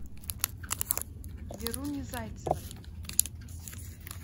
веруни зайцевой